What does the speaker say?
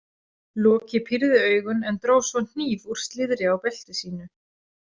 Loki pírði augun en dró svo hníf úr slíðri á belti sínu.